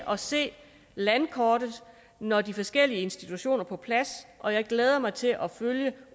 at se landkortet når de forskellige institutioner er på plads og jeg glæder mig til at følge